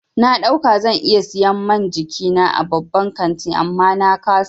Na ɗauka zan iya siyan man jikina a babban kantin amma na ƙasa.